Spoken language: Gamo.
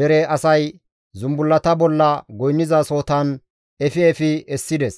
dere asay zumbullata bolla goynnizasohotan efi efi essides.